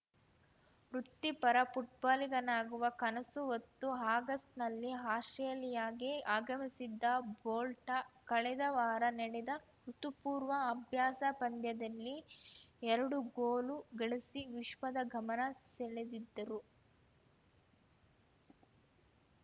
ವೃತ್ತಿಪರ ಫುಟ್ಬಾಲಿಗನಾಗುವ ಕನಸು ಹೊತ್ತು ಆಗಸ್ಟ್‌ನಲ್ಲಿ ಆಸ್ಪ್ರೇಲಿಯಾಗೆ ಆಗಮಿಸಿದ್ದ ಬೋಲ್ಟ ಕಳೆದ ವಾರ ನಡೆದ ಋುತುಪೂರ್ವ ಅಭ್ಯಾಸ ಪಂದ್ಯದಲ್ಲಿ ಎರಡು ಗೋಲು ಗಳಿಸಿ ವಿಶ್ವದ ಗಮನ ಸೆಳೆದಿದ್ದರು